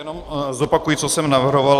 Jen zopakuji, co jsem navrhoval.